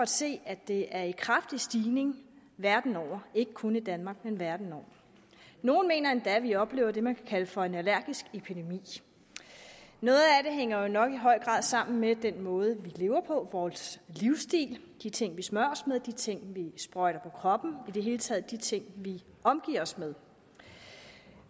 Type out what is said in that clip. se at det er i kraftig stigning verden over ikke kun i danmark men verden over nogle mener endda at vi oplever det man kan kalde for en allergisk epidemi noget af det hænger jo nok i høj grad sammen med den måde vi lever på vores livsstil de ting vi smører os med de ting vi sprøjter på kroppen i det hele taget de ting vi omgiver os med